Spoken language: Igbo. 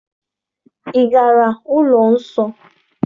Ị gara ụlọ nsọ?